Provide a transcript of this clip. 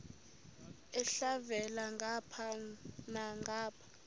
elhavela ngapha nangapha